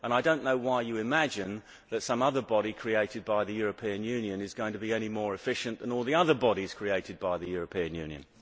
I do not know why you imagine that some other body, created by the European Union, is going to be any more efficient than all the other bodies created by the European Union.